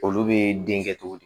Olu bɛ den kɛ cogo di